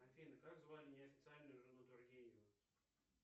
афина как звали неофициальную жену тургенева